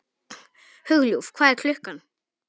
Hugljúf, hvað er klukkan?